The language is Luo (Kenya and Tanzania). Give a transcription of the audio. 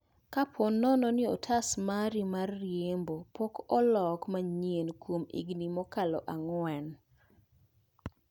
Koaponono ni otas mari mar riembo pok oloko manyie kuom higni mokalo ang'wen